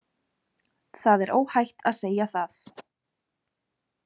Það er óhætt að segja það.